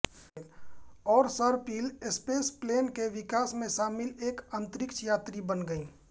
और सर्पिल स्पेसप्लेन के विकास में शामिल एक अंतरिक्ष यात्री बन गयी